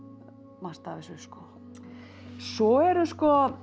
margt af þessu svo eru